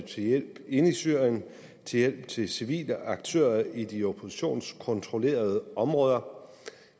hjælp inde i syrien til hjælp til civile aktører i de oppositionskontrollerede områder